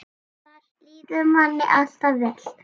Þar líður manni alltaf vel.